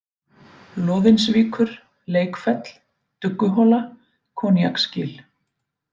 Loðinsvíkur, Leikfell, Dugguhola, Koníaksgil